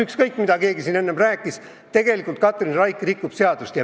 Ükskõik, mida keegi enne ka ei rääkinud, tegelikult Katrin Raik rikub seadust.